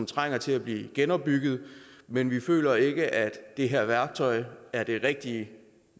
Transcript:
trænger til at blive genopbygget men vi føler ikke at det her værktøj er det rigtige